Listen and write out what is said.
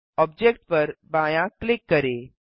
object पर बायाँ click करें